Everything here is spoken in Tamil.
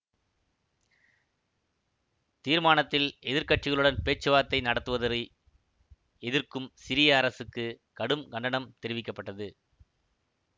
தீர்மானத்தில் எதிர்க்கட்சிகளுடன் பேச்சுவார்த்தை நடத்துவதை எதிர்க்கும் சிரிய அரசுக்கு கடும் கண்டனம் தெரிவிக்க பட்டது